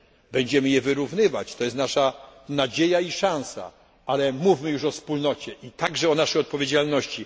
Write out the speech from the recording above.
Będziemy je wyrównywać, jest to naszą nadzieją i szansą, ale mówmy już o Wspólnocie i także o naszej odpowiedzialności